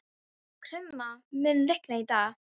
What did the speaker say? Krumma, mun rigna í dag?